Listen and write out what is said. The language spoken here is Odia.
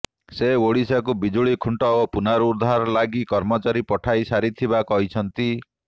ସେ ଓଡ଼ିଶାକୁ ବିଜୁଳି ଖୁଣ୍ଟ ଓ ପୁନରୁଦ୍ଧାର ଲାଗି କର୍ମଚାରୀ ପଠାଇ ସାରିଥିବା କହିଛନ୍ତି